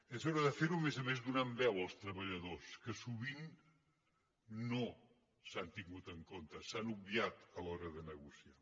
és hora de fer ho a més a més donant veu als treballadors que sovint no s’han tingut en compte s’han obviat a l’hora de negociar